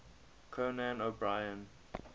conan o brien